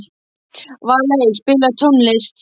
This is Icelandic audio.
Valey, spilaðu tónlist.